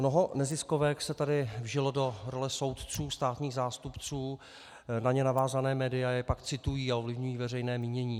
Mnoho neziskovek se tady vžilo do role soudců státních zástupců, na ně navázaná média je pak citují a ovlivňují veřejné mínění.